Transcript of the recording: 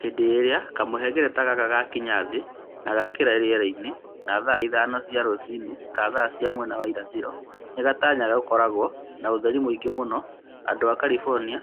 Hĩndĩ ĩrĩa kamũhengereta gaka gakinya Thĩ na gakĩingĩra rĩera-inĩ, ta thaa ithano cia rũcinĩ (ta thaa cia mwena wa irathĩro), nĩ gatanyaga gũgakorũo na ũtheri mũingĩ mũno andũ a California